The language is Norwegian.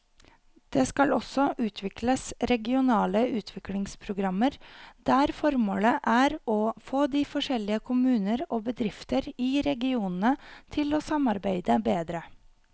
Det skal også utvikles regionale utviklingsprogrammer der formålet er å få de forskjellige kommuner og bedrifter i regionene til å samarbeide bedre.